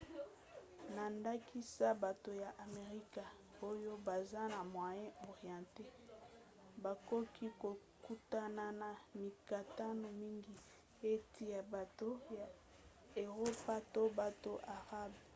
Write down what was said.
na ndakisa bato ya amerika oyo baza na moyen-orient bakoki kokutana na mikakatano mingi euti na bato ya eropa to ba arabe